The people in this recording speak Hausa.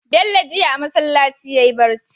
Bello jiya a masalaci yayi bacci